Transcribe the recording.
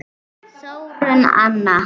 Þórunn Anna.